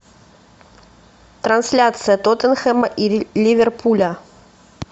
трансляция тоттенхэма и ливерпуля